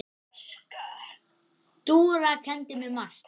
Dúra kenndi mér margt.